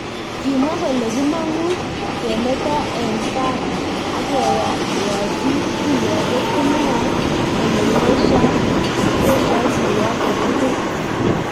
Kimwa kole kimang'u kemetoo en kaar ak keyaatyi kirwakeet komwae kole yesyaa kirwakeet tukul .